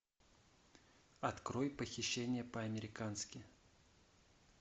открой похищение по американски